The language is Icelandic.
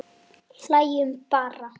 Hlæjum bara.